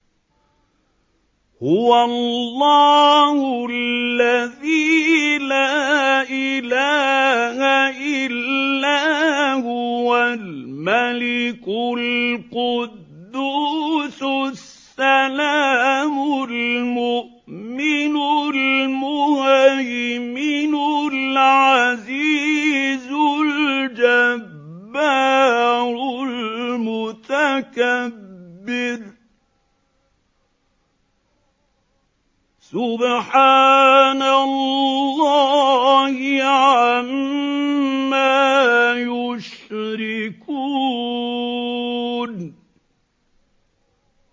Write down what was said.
هُوَ اللَّهُ الَّذِي لَا إِلَٰهَ إِلَّا هُوَ الْمَلِكُ الْقُدُّوسُ السَّلَامُ الْمُؤْمِنُ الْمُهَيْمِنُ الْعَزِيزُ الْجَبَّارُ الْمُتَكَبِّرُ ۚ سُبْحَانَ اللَّهِ عَمَّا يُشْرِكُونَ